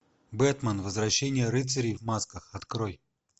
бэтмен возвращение рыцарей в масках открой